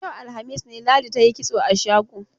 Yau, alhamis ne, Ladi ta yi kitso a shago.